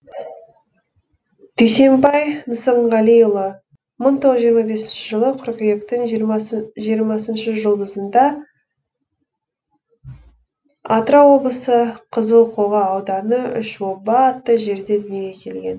дүйсенбай нысанғалиұлымың тоғыз жүз жиырма бесінші жылы қыркүйектің жиырмасыншы жұлдызында атырау облысы қызылқоға ауданы үш оба атты жерде дүниеге келген